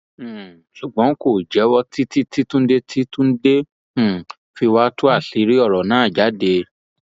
um ṣùgbọn kò jẹwọ títí tí túnde tí túnde um fi wàá tú àṣírí ọrọ náà jáde